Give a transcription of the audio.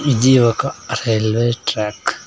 ఇది ఒక railway track .